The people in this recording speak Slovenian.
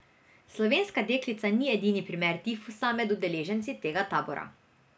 Slovenska deklica ni edini primer tifusa med udeleženci tega tabora.